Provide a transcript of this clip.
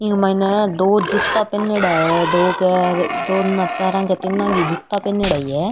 ई माइने दो जूता पेहनेडा है दो के दो ना चारो का तीनो जूता पेहेनेडा ही है।